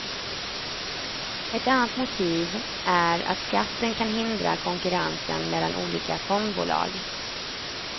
Ett annat motiv är att skatten kan hindra konkurrensen mellan olika fondbolag.